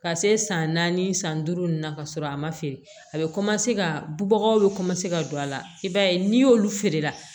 Ka se san naani san duuru ma ka sɔrɔ a ma feere a bɛ ka bubagaw bɛ ka don a la i b'a ye n'i y'olu feere la